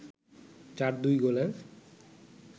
৪-২ গোলে